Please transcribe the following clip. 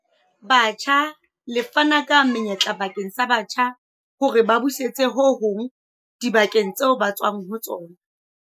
Batjha le fana ka menyetla bakeng sa batjha hore ba busetse ho hong dibakeng tseo ba tswang ho tsona.